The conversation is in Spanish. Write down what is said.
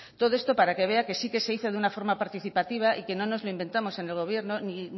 todo esto para que vea que sí que se hizo de forma participativa y que no nos lo inventamos en el gobierno